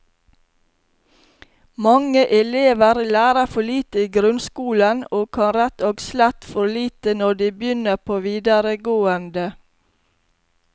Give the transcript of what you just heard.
Mange elever lærer for lite i grunnskolen, og kan rett og slett for lite når de begynner på videregående.